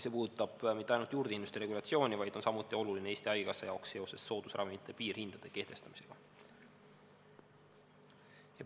See puudutab mitte ainult juurdehindluste regulatsiooni, vaid on samuti oluline Eesti Haigekassa jaoks seoses soodusravimite piirhindade kehtestamisega.